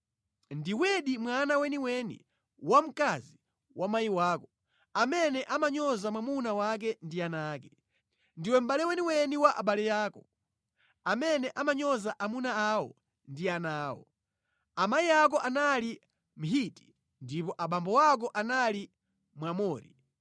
Ndiwedi mwana weniweni wamkazi wa mayi wako, amene amanyoza mwamuna wake ndi ana ake. Ndiwe mʼbale weniweni wa abale ako, amene amanyoza amuna awo ndi ana awo. Amayi ako anali Mhiti ndipo abambo ako anali Mwamori.